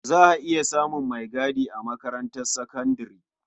Za a iya samun maigadi a makarantar sakandare.